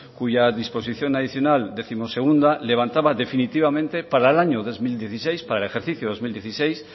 cuya disposición adicional decimosegunda levantaba definitivamente para el año dos mil dieciséis para el ejercicio dos mil dieciséis